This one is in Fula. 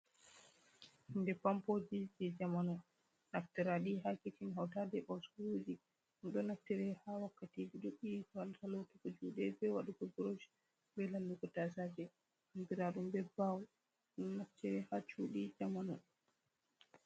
Hunde Pampoji jei jamanu, naftirɗe ha kicin hauta ɗe e ɓasuɗi ɗo naftire ha wakkeje duɗɗi wato lotugo juɗe bei wadugo Burosh bei lallugo tasaje andiraɗum bei baho ɗo naftira ha chuɗii jamanu.